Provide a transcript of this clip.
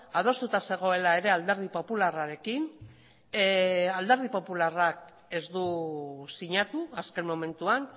adostuta zegoela ere alderdi popularrarekin alderdi popularrak ez du sinatu azken momentuan